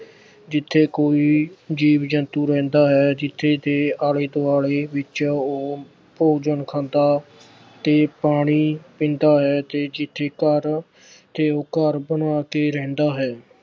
ਜਿੱਥੇ ਕੋਈ ਜੀਵ-ਜੰਤੂ ਰਹਿੰਦਾ ਹੈ, ਜਿੱਥੇ ਦੇ ਆਲੇ-ਦੁਆਲੇ ਵਿੱਚ ਉਹ ਭੋਜਨ ਖਾਂਦਾ ਤੇ ਪਾਣੀ ਪੀਂਦਾ ਹੈ ਤੇ ਜਿੱਥੇ ਘਰ ਅਹ ਤੇ ਉਹ ਘਰ ਬਣਾ ਕੇ ਰਹਿੰਦਾ ਹੈ।